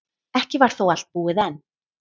Ekki var þó allt búið enn.